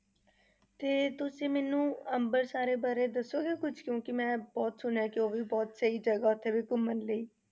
ਤੇ ਤੁਸੀਂ ਮੈਨੂੰ ਅੰਬਰਸਰ ਬਾਰੇ ਦੱਸੋਗੇ ਕੁਛ ਕਿਉਂਕਿ ਮੈਂ ਬਹੁਤ ਸੁਣਿਆ ਹੈ ਕਿ ਉਹ ਵੀ ਬਹੁਤ ਸਹੀ ਜਗ੍ਹਾ ਉੱਥੇ ਵੀ ਘੁੰਮਣ ਲਈ।